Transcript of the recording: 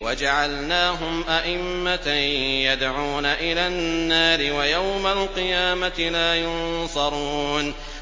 وَجَعَلْنَاهُمْ أَئِمَّةً يَدْعُونَ إِلَى النَّارِ ۖ وَيَوْمَ الْقِيَامَةِ لَا يُنصَرُونَ